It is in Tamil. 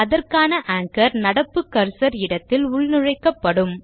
அதற்கான ஆன்ச்சோர் நடப்பு கர்சர் இடத்தில் உள்நுழைக்கப்படும்